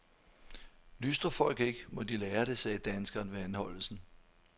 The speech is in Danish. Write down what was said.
Lystrer folk ikke, må de lære det, sagde danskeren ved anholdelsen.